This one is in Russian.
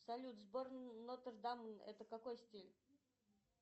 салют собор нотр дам это какой стиль